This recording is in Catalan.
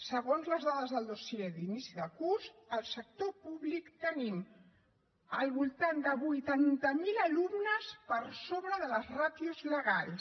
segons les dades del dossier d’inici de curs al sector públic tenim al voltant de vuitanta miler alumnes per sobre de les ràtios legals